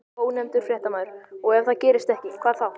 Ónefndur fréttamaður: Og ef það gerist ekki, hvað þá?